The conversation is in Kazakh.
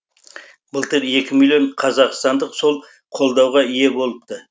былтыр екі миллион қазақстандық сол қолдауға ие болыпты